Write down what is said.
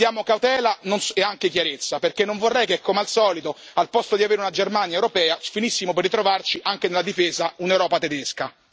Chiediamo cautela e anche chiarezza, perché non vorrei che come al solito, al posto di avere una Germania europea, finissimo per ritrovarci, anche nella difesa, un'Europa tedesca.